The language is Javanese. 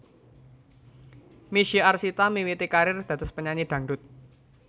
Misye Arsita miwiti karir dados penyanyi dhangdut